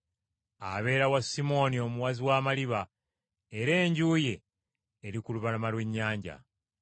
Abeera wa Simooni omuwazi w’amaliba, era enju ye eri ku lubalama lw’ennyanja.”